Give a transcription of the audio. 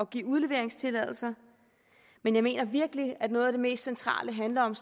give udleveringstilladelser men jeg mener virkelig at noget af det mest centrale handler om